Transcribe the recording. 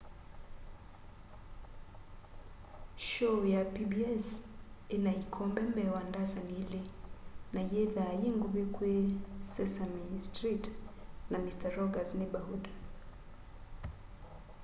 shoo ya pbs ina ikombe mbee wa ndasani ili na yithwaa yinguvi kwi sesame street na mister rogers' neighborhood